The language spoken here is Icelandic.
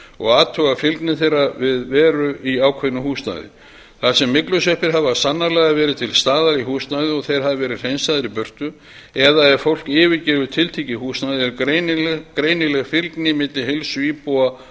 og athuga fylgni þeirra við veru í ákveðnu húsnæði þar sem myglusveppir hafa sannarlega verið til staðar í húsnæði og þeir hafa verið hreinsaðir í burtu eða ef fólk yfirgefur tiltekið húsnæði er greinileg fylgni milli heilsu íbúa